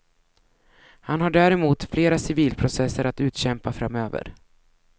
Han har däremot flera civilprocesser att utkämpa framöver.